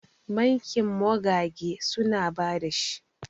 bankin mogage suna ba da shi